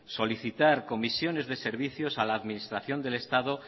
solicitar comisiones de servicios a la administración del estado